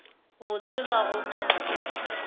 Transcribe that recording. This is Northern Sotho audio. botse ga go na lerato